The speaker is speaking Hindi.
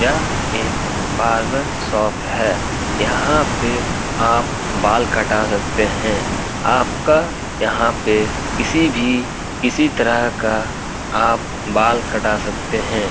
यह एक बार्बर शॉप है यहां पे आप बाल कटा सकते हैं आपका यहां पे किसी भी किसी तरह का आप बाल कटा सकते हैं।